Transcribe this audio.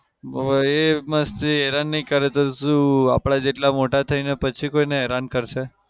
હવે એ મસ્તી હેરાન નઈ કરે તો શું આપડા જેટલા મોટા થઈને પછી કોઈને હેરાન કરશે?